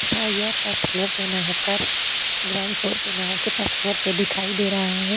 तथा यह first floor पर ना होकर ग्राउंड फ्लोर पर ना होकर फर्स्ट फ्लोर पर दिखाई दे रहा है।